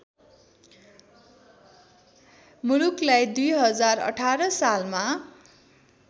मुलुकलाई २०१८ सालमा